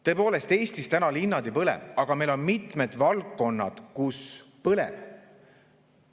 Tõepoolest, Eestis täna linnad ei põle, aga meil on mitmed valdkonnad, kus põleb.